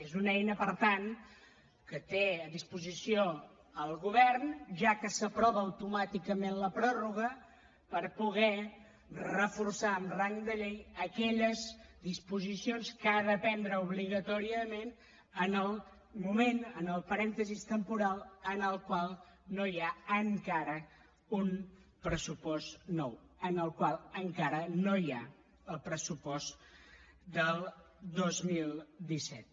és una eina per tant que té a disposició el govern ja que s’aprova automàticament la pròrroga per poder reforçar amb rang de llei aquelles disposicions que ha de prendre obligatòriament en el moment en el parèntesi temporal en el qual no hi ha encara un pressupost nou en el qual encara no hi ha el pressupost del dos mil disset